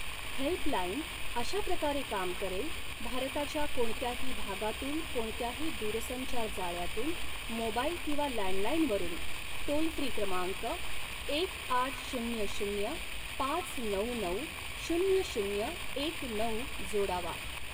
Helpline अशा प्रकारे काम करेल भारताच्या कोणत्याही भागातून कोणत्याही दूरसंचार जाळ्यातून मोबाइल किंवा लँडलाईऩवरून टोल फ्री क्रमांक एक आठ शून्य शून्य पाच नऊ नऊ शून्य शून्य एक नऊ जोडावा.